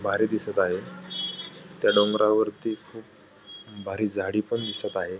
भारी दिसत आहे त्या डोंगरवरती खूप भारी झाडी पण दिसत आहे.